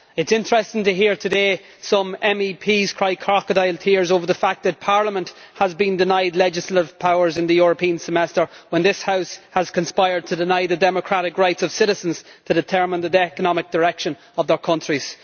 It is interesting to hear today some MEPs crying crocodile tears over the fact that Parliament has been denied legislative powers in the European Semester when this House has conspired to deny the democratic rights of citizens to determine the economic direction of their countries.